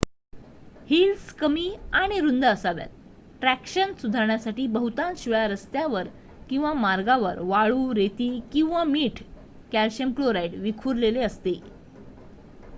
Heels कमी आणि रुंद असाव्यात. ट्रॅक्शन सुधारण्यासाठी बहुतांश वेळा रस्त्यांवर किंवा मार्गांवर वाळू रेती किंवा मीठ कॅल्शियम क्लोराईड विखुरलेले असते